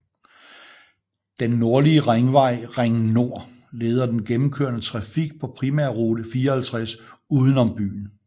Den nordlige ringvej Ring Nord leder den gennemkørende trafik på primærrute 54 uden om byen